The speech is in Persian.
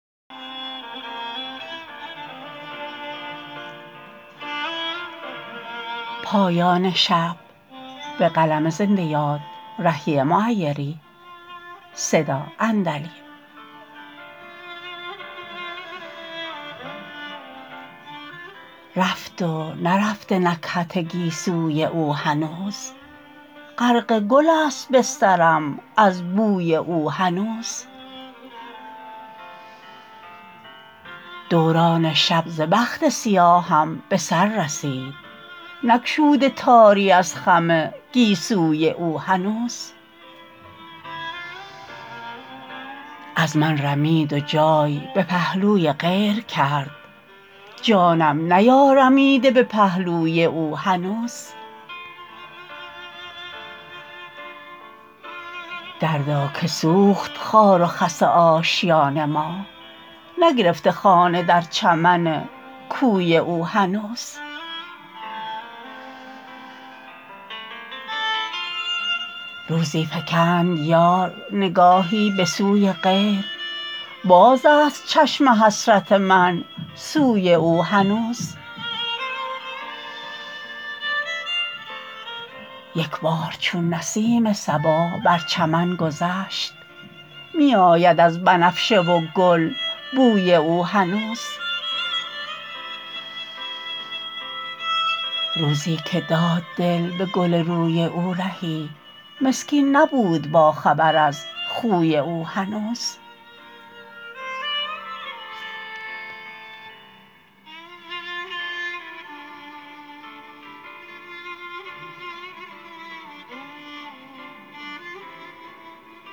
رفت و نرفته نکهت گیسوی او هنوز غرق گل است بسترم از بوی او هنوز دوران شب ز بخت سیاهم به سر رسید نگشوده تاری از خم گیسوی او هنوز از من رمید و جای به پهلوی غیر کرد جانم نیارمیده به پهلوی او هنوز دردا که سوخت خار و خس آشیان ما نگرفته خانه در چمن کوی او هنوز روزی فکند یار نگاهی به سوی غیر باز است چشم حسرت من سوی او هنوز یک بار چون نسیم صبا بر چمن گذشت می آید از بنفشه و گل بوی او هنوز روزی که داد دل به گل روی او رهی مسکین نبود باخبر از خوی او هنوز